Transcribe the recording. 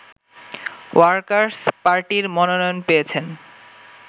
workers পার্টির মনোনয়ন পেয়েছেন